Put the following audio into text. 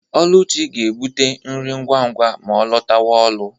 Oluchi ga-ebute nri ngwa ngwa ma ọ lọtawa ụlọ.